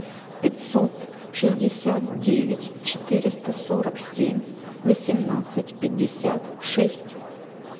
пятьсот шестьдесят девять четыреста сорок семь восемнадцать пятьдесят шесть